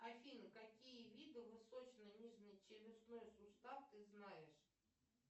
афина какие виды восточно челюстной сустав ты знаешь